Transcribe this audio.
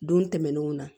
Don tɛmɛnnenw na